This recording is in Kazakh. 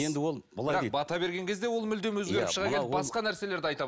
енді ол былай дейді бата берген кезде ол мүлдем өзгеріп шыға келді басқа нәрселерді